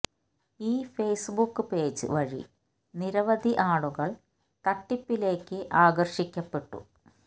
ഈ Facebook page വഴി നിരവധി ആളുകൾ തട്ടിപ്പിലെക്ക് ആകർഷിക്കപ്പെട്ടു